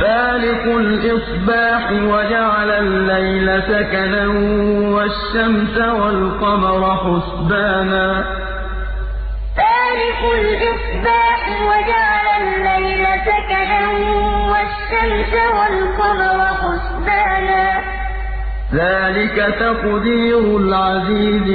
فَالِقُ الْإِصْبَاحِ وَجَعَلَ اللَّيْلَ سَكَنًا وَالشَّمْسَ وَالْقَمَرَ حُسْبَانًا ۚ ذَٰلِكَ تَقْدِيرُ الْعَزِيزِ الْعَلِيمِ فَالِقُ الْإِصْبَاحِ وَجَعَلَ اللَّيْلَ سَكَنًا وَالشَّمْسَ وَالْقَمَرَ حُسْبَانًا ۚ ذَٰلِكَ تَقْدِيرُ الْعَزِيزِ